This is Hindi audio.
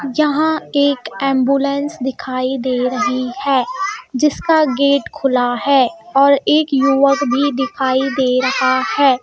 यहां एक एम्बुलेंस दिखाई दे रही है जिसका गेट खुला है और एक युवक भी दिखाई दे रहा है।